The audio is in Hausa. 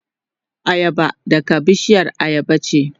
Ayaba daga bishiyar ayaba ce.